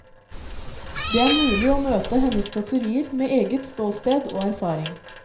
Det er mulig å møte hennes kåserier med eget ståsted og erfaring.